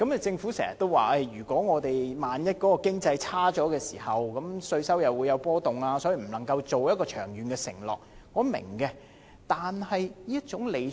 政府經常說，萬一我們的經濟環境轉差，稅收便會有波動，所以無法作出長遠承諾，這一點我明白。